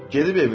Gedib evinə.